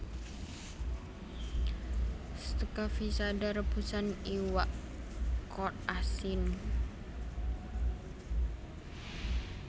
Stocaficada rebusan iwak kod asin